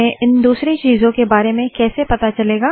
हमें दूसरी चीजों के बारे में कैसे पता चलेगा